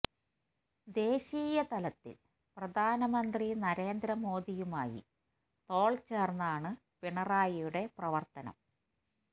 ദേശീയ തലത്തിൽ പ്രധാനമന്ത്രി നരേന്ദ്ര മോദിയുമായി തോൾ ചേർന്നാണ് പിണറായിയുടെ പ്രവർത്തനം